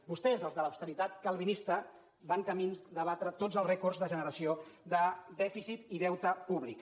vostès els de l’austeritat calvinista van camí de batre tots els rècords de generació de dèficit i deute públic